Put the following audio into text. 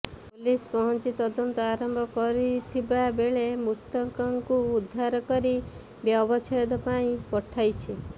police ପହଞ୍ଚି ତଦନ୍ତ ଆରମ୍ଭ କରଥିବା ବେଳେ ମୃତକଙ୍କୁ ଉଦ୍ଧାର କରି ବ୍ୟବଚ୍ଛେଦ ପାଇଁ ପଠାଇଛି